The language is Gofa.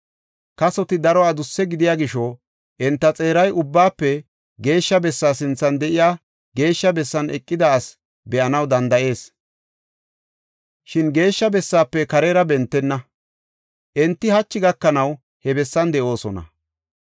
Kasoti daro adusse gidiya gisho, enta xeeray Ubbaafe Geeshsha Bessaa sinthan de7iya Geeshsha bessan eqida asi be7anaw danda7ees; shin Geeshsha bessaafe karera bentenna. Enti hachi gakanaw he bessan de7oosona.